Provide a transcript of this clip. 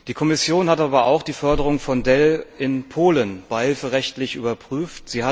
Die Kommission hat aber auch die Förderung von Dell in Polen beihilferechtlich überprüft.